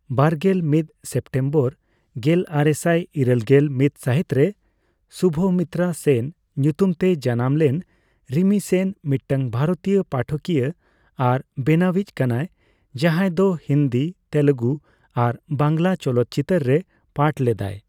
ᱵᱟᱨᱜᱮᱞ ᱢᱤᱛ ᱥᱮᱯᱴᱮᱢᱵᱚᱨ ᱜᱮᱞᱟᱨᱮᱥᱟᱭ ᱤᱨᱟᱹᱞ ᱜᱮᱞ ᱢᱤᱛ ᱥᱟᱹᱦᱤᱛᱨᱮ ᱥᱩᱵᱷᱚᱢᱤᱛᱨᱟ ᱥᱮᱱ ᱧᱩᱛᱩᱢᱛᱮᱭ ᱡᱟᱱᱟᱢ ᱞᱮᱱ ᱨᱤᱢᱤ ᱥᱮᱱ ᱢᱤᱫᱴᱟᱝ ᱵᱷᱟᱨᱚᱛᱤᱭᱟᱹ ᱯᱟᱴᱷᱚᱠᱤᱭᱟᱹ ᱟᱨ ᱵᱮᱱᱟᱣᱤᱡ ᱠᱟᱱᱟᱭ, ᱡᱟᱸᱦᱟᱭᱫᱚ ᱦᱤᱱᱫᱤ, ᱛᱮᱞᱮᱜᱩ ᱟᱨ ᱵᱟᱝᱜᱞᱟ ᱪᱚᱞᱚᱛ ᱪᱤᱛᱟᱹᱨ ᱨᱮ ᱯᱟᱴᱷ ᱞᱮᱫᱟᱭ ᱾